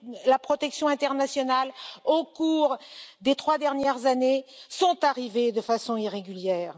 la protection internationale au cours des trois dernières années sont arrivés de façon irrégulière.